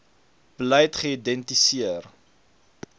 beleid geïdenti seer